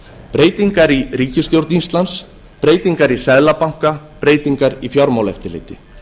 breytingar í ríkisstjórn íslands breytingar í seðlabanka breytingar í fjármálaeftirliti